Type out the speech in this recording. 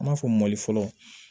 An b'a fɔ mali fɔlɔ